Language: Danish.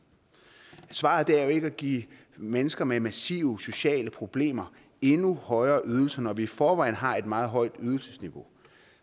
svaret er jo ikke at give mennesker med massive sociale problemer endnu højere ydelser når vi i forvejen har et meget højt ydelsesniveau